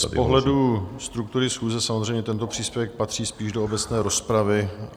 Z pohledu struktury schůze samozřejmě tento příspěvek patří spíš do obecné rozpravy.